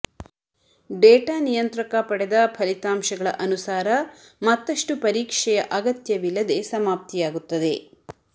data ನಿಯಂತ್ರಕ ಪಡೆದ ಫಲಿತಾಂಶಗಳ ಅನುಸಾರ ಮತ್ತಷ್ಟು ಪರೀಕ್ಷೆಯ ಅಗತ್ಯವಿಲ್ಲದೆ ರಂದು ಸಮಾಪ್ತಿಯಾಗುತ್ತದೆ